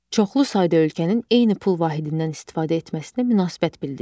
Çoxlu sayda ölkənin eyni pul vahidindən istifadə etməsinə münasibət bildirin.